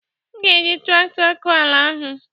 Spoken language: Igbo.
M ga-eji traktọ akọ ala ahu.